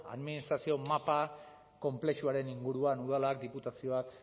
administrazio mapa konplexuaren inguruan udalak diputazioak